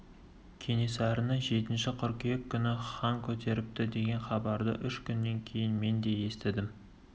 кенесарыны жетінші қыркүйек күні хан көтеріпті деген хабарды үш күннен кейін мен де естідім